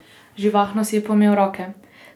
Živahno si je pomel roke.